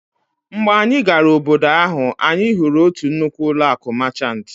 Mgbe anyị gara obodo ahụ, anyị hụrụ otu nnukwu ụlọ akụ Máchanti